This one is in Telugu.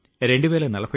ఇది సులభంగా రాదు